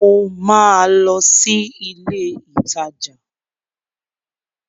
Mo ma lọ sí ilé ìtajà